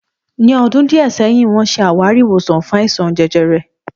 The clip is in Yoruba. Ní ọdún díẹ̀ sẹ́yìn wọ́n ṣe àwárí ìwòsàn fún àìsàn jẹjẹrẹ